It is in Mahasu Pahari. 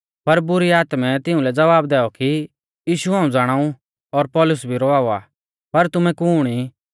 पर बुरी आत्मै तिउंलै ज़वाब दैऔ कि यीशु हाऊं ज़ाणाऊ और पौलुस भी रवावा पर तुमै कुण ई